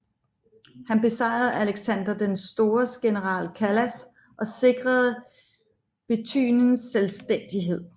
Han besejrede Alexander den Stores general Kalas og sikrede Bithyniens selvstændighed